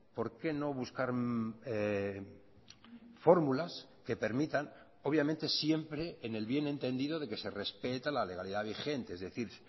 por qué no buscar fórmulas que permitan obviamente siempre en el bien entendido de que se respeta la legalidad vigente es decir